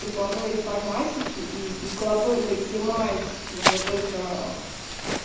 прикладной информатики и прикладной математики вот только